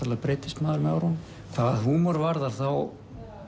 breytist maður með árunum hvað húmor varðar þá